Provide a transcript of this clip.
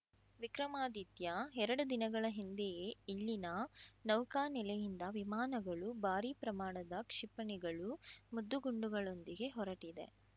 ವಿಕ್ರಮಾದಿತ್ಯ ಎರಡು ದಿನಗಳ ಹಿಂದೆಯೇ ಇಲ್ಲಿನ ನೌಕಾನೆಲೆಯಿಂದ ವಿಮಾನಗಳು ಭಾರಿ ಪ್ರಮಾಣದ ಕ್ಷಿಪಣಿಗಳು ಮದ್ದು ಗುಂಡುಗಳೊಂದಿಗೆ ಹೊರಟಿದೆ